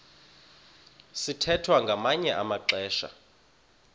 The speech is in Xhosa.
sithwethwa ngamanye amaxesha